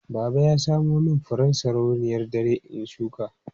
Baba ya samo min furen sarauniyar dare in shuka.